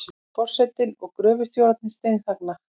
Forsetinn og gröfustjórarnir steinþagna.